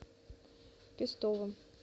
пестовым